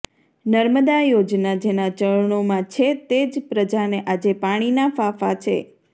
નર્મદા યોજના જેના ચરણોમાં છે તે જ પ્રજાને આજે પાણીના ફાંફા છે